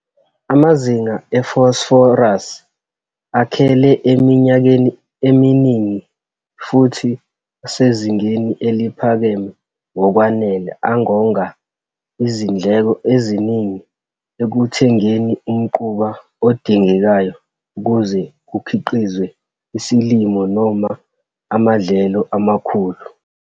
Amazinga efosforasi akhele eminyakeni eminingi futhi asezingeni eliphakeme ngokwanele angonga izindleko eziningi ekuthengeni umquba odingekayo ukuze kukhiqizwe isilimo noma amadlelo amakhulu.